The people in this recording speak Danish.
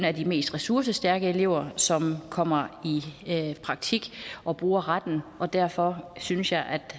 er de mest ressourcestærke elever som kommer i praktik og bruger retten og derfor synes jeg at